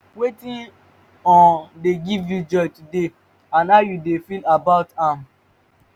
wetin um dey give you joy today and how you dey feel about am?